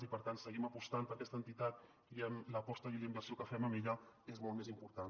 i per tant seguim apostant per aquesta entitat i l’aposta i la inversió que fem en ella és molt més important